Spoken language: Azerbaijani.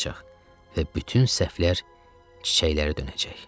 Və bütün səhvlər çiçəklərə dönəcək.